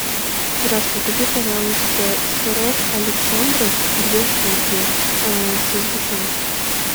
здравствуй купи пожалуйста сырок александров две штуки со сгущенкой